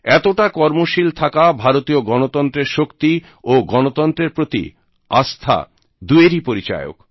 এতটা কর্মশীল থাকা ভারতীয় গনতন্ত্রের শক্তি ও গনতন্ত্রের প্রতি আস্থা দুইয়েরই পরিচায়ক